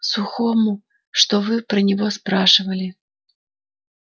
сухому что вы про него спрашивали